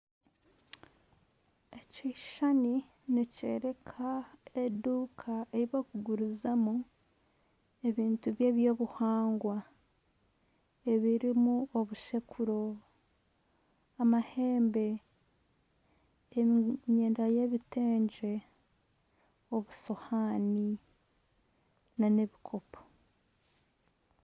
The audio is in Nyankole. Ekishushani nikyereka eduuka ei barikugurizamu ebintu byobuhangwa emirimu obushekuro, amahembe, emyenda y'ebitengye, obusohani na n'ebikopo.